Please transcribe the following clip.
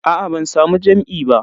Aa ban samu jam'i ba.